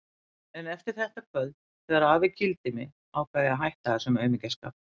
En eftir þetta kvöld, þegar afi kýldi mig, ákvað ég að hætta þessum aumingjaskap.